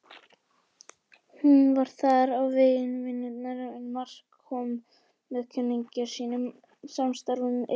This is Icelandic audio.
Hún var þar á vegum vinnunnar en Mark kom með kunningja sínum, samstarfsmanni Eyrúnar.